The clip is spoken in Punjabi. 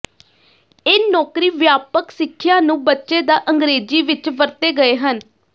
ਇਹ ਨੌਕਰੀ ਵਿਆਪਕ ਸਿੱਖਿਆ ਨੂੰ ਬੱਚੇ ਦਾ ਅੰਗਰੇਜ਼ੀ ਵਿਚ ਵਰਤੇ ਗਏ ਹਨ